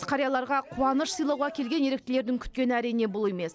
қарияларға қуаныш сыйлауға келген еріктілердің күткені әрине бұл емес